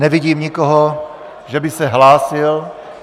Nevidím nikoho, že by se hlásil...